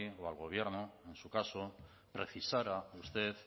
o al gobierno en su caso precisara usted